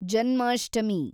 Janmashtami